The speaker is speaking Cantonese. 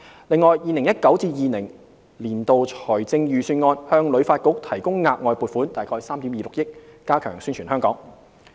另外 ，2019-2020 年度財政預算案向旅發局提供額外撥款約3億 2,600 萬元，加強宣傳香港。